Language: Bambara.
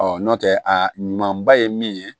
nɔntɛ a ɲuman ba ye min ye